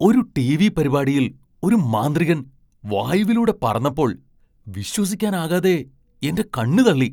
ഒരു ടിവി പരിപാടിയിൽ ഒരു മാന്ത്രികൻ വായുവിലൂടെ പറന്നപ്പോൾ വിശ്വസിക്കാനാകാതെ എന്റെ കണ്ണു തള്ളി.